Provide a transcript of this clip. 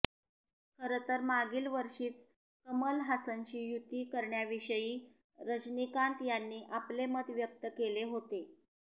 खरं तर मागील वर्षीच कमल हासनशी युती करण्याविषयी रजनीकांत यांनी आपले मत व्यक्त केले होते